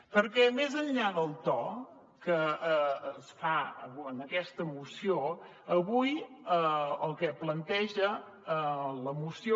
perquè més enllà del to que es fa en aquesta moció avui el que planteja la moció